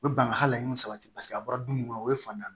U bɛ ban ka hal'aw sabati paseke a bɔra du mun kɔnɔ o ye fantan ye